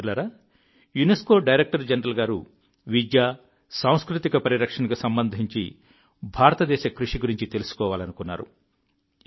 మిత్రులారా UNESCO director general గారు విద్య సాంస్కృతిక పరిరక్షణకు సంబంధించి భారతదేశ కృషి గురించి తెలుసుకోవాలనుకున్నారు